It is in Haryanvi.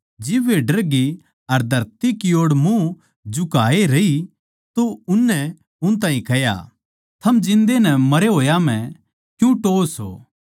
जिब वे डर ग्यी अर धरती की ओड़ मुँह झुकाए रही तो उननै उन ताहीं कह्या थम जिन्दै नै मरे होया म्ह क्यूँ टोह्वो सो